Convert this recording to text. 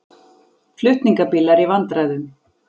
Flutningabílar í vandræðum